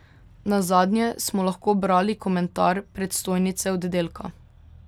Nazadnje smo lahko brali komentar predstojnice oddelka.